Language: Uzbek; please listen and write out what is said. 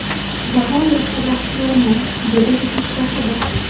Bag‘oyatda baxtiyorman”, - deydi yutuq sohibi.